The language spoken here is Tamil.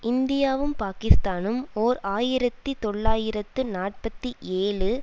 இந்தியாவும் பாக்கிஸ்தானும் ஓர் ஆயிரத்தி தொள்ளாயிரத்து நாற்பத்தி ஏழு